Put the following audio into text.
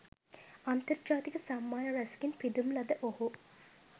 අන්තර්ජාතික සම්මාන රැසකින් පිදුම් ලද ඔහු